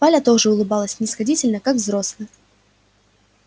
валя тоже улыбалась снисходительно как взрослая